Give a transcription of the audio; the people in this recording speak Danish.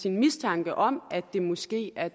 en mistanke om at der måske er